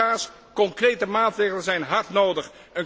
Collega's, concrete maatregelen zijn hard nodig.